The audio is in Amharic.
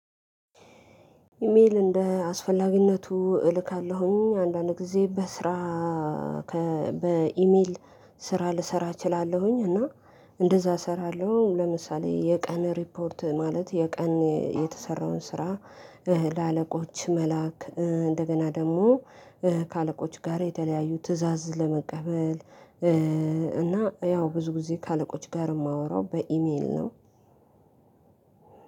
ኢሜል እንደ አስፈላጊነቱ እልካለሁኝ አንዳንድ ጊዜ በስራ ከበኢሜል ስራ ልሰራ እችላለሁኝ እና እንደዛ እሰራለሁ። ለምሳሌ የቀን ሪፖርት ማለት የቀን የተሰራውን ስራ ለአለቆች መላክ እንደገና ደግሞ ከአለቆች ጋር የተለያዩ ትእዛዝ ለመቀበል። እና ያው ብዙ ጊዜ ከአለቆች ጋር የማወራው በኢሜል ነው፤።